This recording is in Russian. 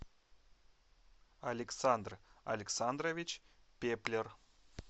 александр александрович пеплер